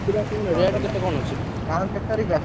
କୁକୁଡ଼ା କଣ rate କେତେ କଣ ଅଛି? ଗାଁକୁ କେତେ ତାରିଖ୍ ଆସୁଛ?